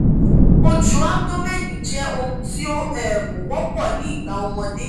ojú abdomen jẹ́ ohun tí ó um wọ́pọ̀ ní ìgbà ọmọdé